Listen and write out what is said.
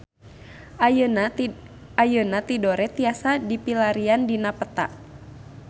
Ayeuna Tidore tiasa dipilarian dina peta